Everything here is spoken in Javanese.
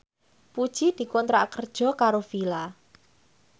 Puji dikontrak kerja karo Fila